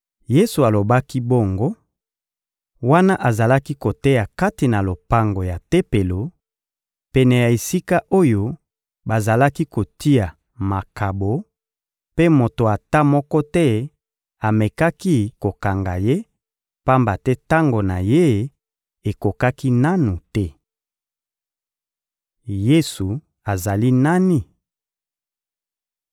Yesu alobaki bongo, wana azalaki koteya kati na lopango ya Tempelo, pene ya esika oyo bazalaki kotia makabo; mpe moto ata moko te amekaki kokanga Ye, pamba te tango na Ye ekokaki nanu te. Yesu azali nani?